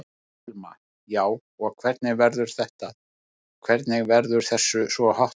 Telma: Já, og hvernig verður þetta, hvernig verður þessu svona háttað?